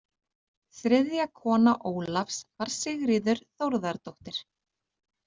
Þriðja kona Ólafs var Sigríður Þórðardóttir.